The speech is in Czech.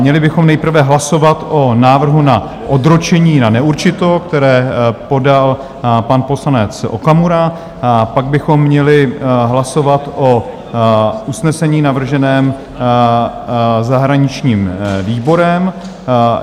Měli bychom nejprve hlasovat o návrhu na odročení na neurčito, které podal pan poslanec Okamura, pak bychom měli hlasovat o usnesení navrženém zahraničním výborem.